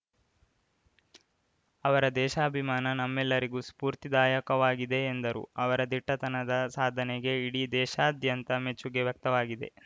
ಅವರ ದೇಶಾಭಿಮಾನ ನಮ್ಮೆಲ್ಲರಿಗೂ ಸ್ಫೂರ್ತಿದಾಯಕವಾಗಿದೆ ಎಂದರು ಅವರ ದಿಟ್ಟತನದ ಸಾಧನೆಗೆ ಇಡೀ ದೇಶಾದ್ಯಂತ ಮೆಚ್ಚುಗೆ ವ್ಯಕ್ತವಾಗಿದೆ